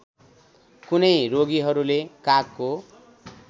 कुनै रोगीहरूले कागको